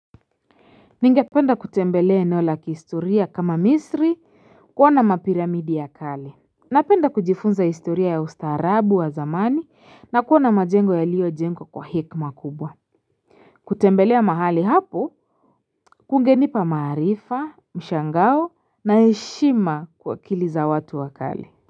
Ningependa kutembelea eneo la kihistoria kama misri kuona mapiramidi ya kale Napenda kujifunza historia ya ustaarabu wa zamani na kuona majengo yalio jengwa kwa hekima kubwa kutembelea mahali hapo kungenipa maarifa mshangao na heshima kwa akili za watu wa kale.